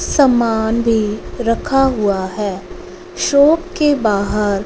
समान भी रखा हुआ है शॉप के बाहर--